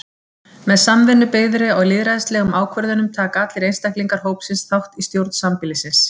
Með samvinnu byggðri á lýðræðislegum ákvörðunum taka allir einstaklingar hópsins þátt í stjórn sambýlisins.